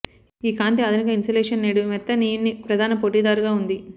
ఈ కాంతి ఆధునిక ఇన్సులేషన్ నేడు మెత్తనియున్ని ప్రధాన పోటీదారుగా ఉంది